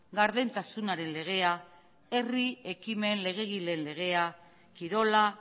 gardentasunaren legea herri ekimen legegileen legea kirola